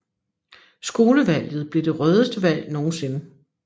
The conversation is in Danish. Skolevalget blev det rødeste valg nogensinde